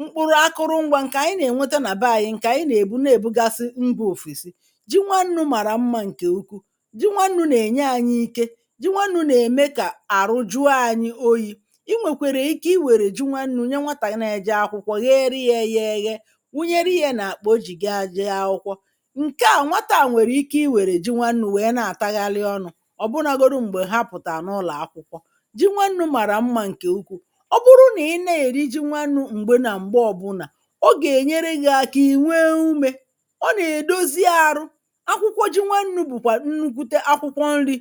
mkpụrụ akụrụngwā ǹkè ànyị nà-ènwete nà beanyị ǹkè anyị nà-èbu na-èbugasi mbā òfèsi ji nwannū màrà mmā ǹkè ukwu ji nwannū nà-ènye anyị ike ji nwannū nà-ème kà àrụ jụọ anyị oyī I nwèkwèrè ike I nwèrè ji nwannū nye nwatà nà-eje akwụkwọ gheeri yā yā eghe wụnyeri yā n’àkpà o jì gaa jee akwụkwọ ǹke à nwata à nwèrè ike ì wèrè ji nwannū wèe na-àtaghalị ọnụ̄ ọ̀bụnagodu m̀gbè ha pụ̀tàrà n’ụlọ̀ akwụkwọ ji nwannū màrà mmā ǹkè ukwu ọ bụrụ nà ị na-èri ji nwannū m̀gbe nà m̀gbe ọbụnà ọ gà-ènyere gị̄ aka ì nwee umē ọ nà-èdozi arụ akwụkwọ ji nwannū bụ̀kwà nnukwute akwụkwọ nrī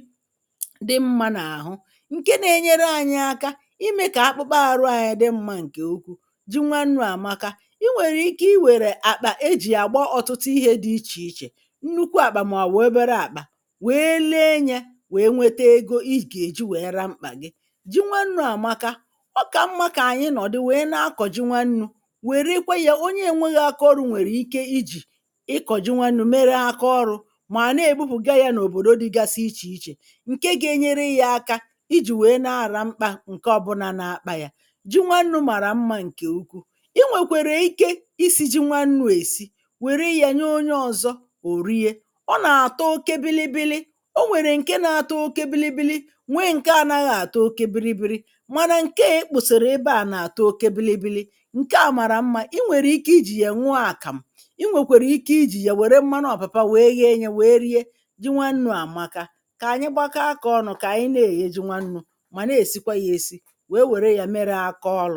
dị mmā n’àhụ ǹke na-enyere anyị aka imē kà akpụkpọ arụ anyị dị mmā ǹkè ukwu ji nwannū àmaka I nwèrè ike I wèrè àkpà e jì àgba ọ̀tụtụ ihē dị ichè ichè nnukwu àkpà mà ọ̀ bụ̀ obere àkpà wèe lee nyē wèe nwete ego ị gà-èji wèe ra mkpà gị ji nwannū àmaka ọ kà mmā kà ànyị nọ̀dụ wèe na-akọ̀ ji nwannū wère kwe yā onye enweghi akaọrụ̄ nwèrè ike ijì ịkọ̀ ji nwannū mere akaọrụ̄ mà na-èbupụ̀ga yā n’òbòdo dịgasị ichè ichè ǹke ga-enyere yā aka ijì wèe na-àra mkpā ǹke ọbụlā na-akpā yā ji nwannū màrà mmā ǹkè ukwu I nwèkwèrè ike isī ji nwannū èsi wèri yā nye onye ọzọ ò rie ọ là-àtọ oke bịlịbịlị o nwèrè ǹke na-atọ oke bịlịbịlị nwee ǹke anaghị àtọ oke bịrịbịrị mànà ǹke à ekpòsàrà ebe à nà-àtọ oke bịlịbịlị ǹke à màrà mmā I nwèrè ike ijì yè ṅụọ àkàmụ̀ I nwèkwèrè ijì ya wère mmanụ ọ̀pàpà wèe ghee yā wèe rie ji nwannū àmaka kà ànyị gbakọọ akā ọnụ̄ kà ànyị na-èghe ji nwannū mà na-èsikwa yā esi wèe wère yā mere akaọlụ̄